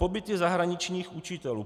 Pobyty zahraničních učitelů.